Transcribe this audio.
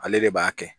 Ale de b'a kɛ